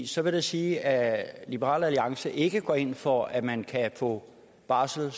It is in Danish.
så vil det sige at liberal alliance ikke går ind for at man kan få barsel